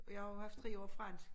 Og jeg har jo haft 3 år fransk